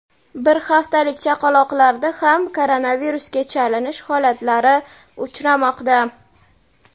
bir haftalik chaqaloqlarda ham koronavirusga chalinish holatlari uchramoqda.